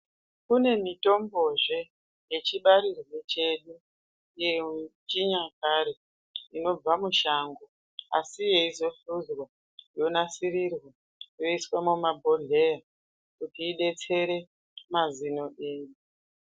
Kune mitombozve yechibarirwe chedu, yechiyakare inobva mushango, asi yeizo hluzwa, yonasirirwa, yoiswe mumabhodhleya kuti idetsere mazino edu.